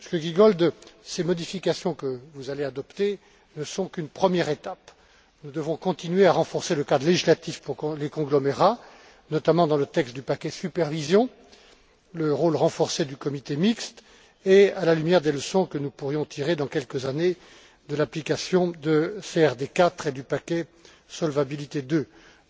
Monsieur Giegold, ces modifications que vous allez adopter ne sont qu'une première étape. Nous devons continuer à renforcer le cadre législatif pour les conglomérats, notamment dans le texte du paquet supervision, et le rôle du comité mixte, et ce à la lumière des leçons que nous pourrions tirer, dans quelques années, de l'application de la CRD 4 et du paquet Solvabilité II.